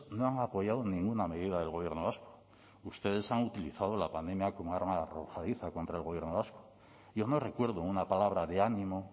no han apoyado ninguna medida del gobierno vasco ustedes han utilizado la pandemia como arma arrojadiza contra el gobierno vasco yo no recuerdo una palabra de ánimo